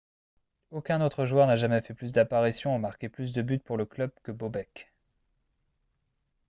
aucun autre joueur n'a jamais fait plus d'apparitions ou marqué plus de buts pour le club que bobek